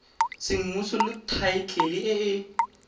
semmuso le thaetlele e e